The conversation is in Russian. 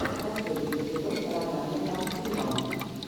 последний эпизод розанны пансино